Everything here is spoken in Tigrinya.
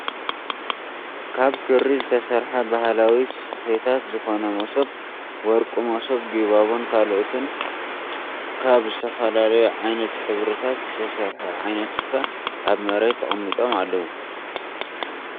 ካብ ክሪ ዝተሰርሐ ባህላዊ ስፈታት ዝኮነ መሶብ፣ ወርቂ መሶብ፣ ጊባቦን ካልኦትን ካብ ዝተፈላለዩ ዓይነት ሕብሪታት ዝተሰርሐ ዓይነት ስፈ ኣብ መሬት ተቀሚጦም ኣለዉ።